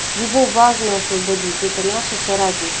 его важно освободить это наши соратники